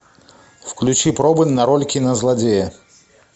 включи пробы на роль кинозлодея